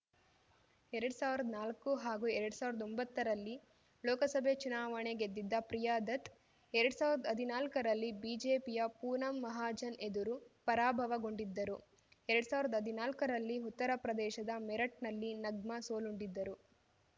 ಎರ್ಡ್ ಸಾವ್ರ್ದಾ ನಾಲ್ಕು ಹಾಗೂ ಎರ್ಡ್ ಸಾವ್ರ್ದಾ ಒಂಬತ್ತರಲ್ಲಿ ಲೋಕಸಭೆ ಚುನಾವಣೆ ಗೆದ್ದಿದ್ದ ಪ್ರಿಯಾ ದತ್‌ ಎರ್ಡ್ ಸಾವ್ರ್ದಾ ಹದ್ನಾಲ್ಕರಲ್ಲಿ ಬಿಜೆಪಿಯ ಪೂನಂ ಮಹಾಜನ್‌ ಎದುರು ಪರಾಭವಗೊಂಡಿದ್ದರು ಎರ್ಡ್ ಸಾವ್ರ್ದಾ ಹದಿನಾಲ್ಕರಲ್ಲಿ ಉತ್ತರಪ್ರದೇಶದ ಮೇರಠ್‌ನಲ್ಲಿ ನಗ್ಮಾ ಸೋಲುಂಡಿದ್ದರು